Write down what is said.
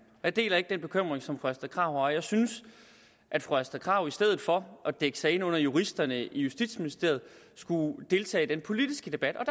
jeg deler ikke den bekymring som fru astrid krag har og jeg synes fru astrid krag i stedet for at dække sig ind under juristerne i justitsministeriet skulle deltage i den politiske debat og